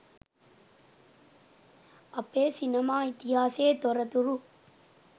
අපේ සිනමා ඉතිහාසයේ තොරතුරු